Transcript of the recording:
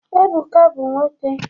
Ebuka bu nwoke